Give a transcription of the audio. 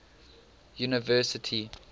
university